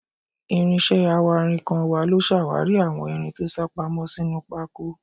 Ìrìn iṣẹ́ awárinkàn wa ló ṣàwárí àwọn irin tó sápamọ́ sínú pákó.